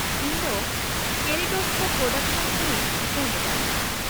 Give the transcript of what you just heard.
-ᱤᱧ ᱫᱚ kaleidoscope production ᱠᱷᱚᱱᱤᱧ ᱯᱷᱳᱱ ᱮᱫᱟ ᱾